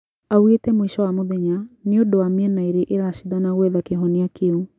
Augĩte mũico wa mũthenya nĩ ũndũ wa mĩena ĩrĩ ĩraciadana gũetha kĩhonĩa kĩu